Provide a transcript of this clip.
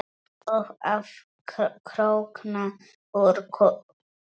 Og að krókna úr kulda.